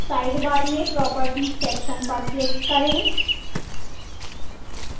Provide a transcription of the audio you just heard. sidebar में properties section पर click करें